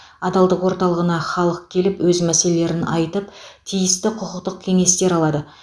адалдық орталығына халық келіп өз мәселелерін айтып тиісті құқықтық кеңестер алады